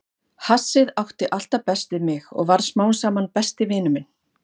Hassið átti alltaf best við mig og varð smám saman besti vinur minn.